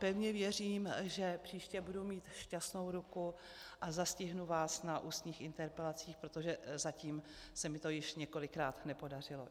Pevně věřím, že příště budu mít šťastnou ruku a zastihnu vás na ústních interpelacích, protože zatím se mi to již několikrát nepodařilo.